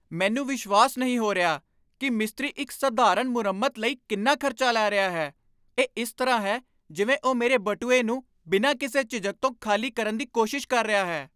ਮੈਨੂੰ ਵਿਸ਼ਵਾਸ ਨਹੀਂ ਹੋ ਰਿਹਾ ਕਿ ਮਿਸਤਰੀ ਇੱਕ ਸਧਾਰਨ ਮੁਰੰਮਤ ਲਈ ਕਿੰਨਾ ਖਰਚਾ ਲੈ ਰਿਹਾ ਹੈ! ਇਹ ਇਸ ਤਰ੍ਹਾਂ ਹੈ ਜਿਵੇਂ ਉਹ ਮੇਰੇ ਬਟੂਏ ਨੂੰ ਬਿਨਾਂ ਕਿਸੇ ਝਿਜਕ ਤੋਂ ਖਾਲੀ ਕਰਨ ਦੀ ਕੋਸ਼ਿਸ਼ ਕਰ ਰਿਹਾ ਹੈ!